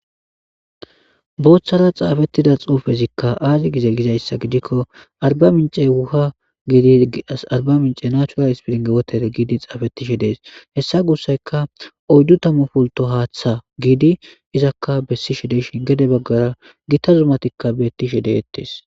booththara xaafettida xuufezikka aazi gize gizayssa gidikko arbsmince wuha iiarba mince nacural hispiringe wotere giidi xaafeti shidees hessa gussayka oyddu tammu pulto haaththa giidi izakka bessi shideshin gede baggara gita zuumatikka beettishi deettes